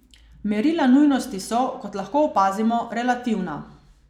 Merila nujnosti so, kot lahko opazimo, relativna.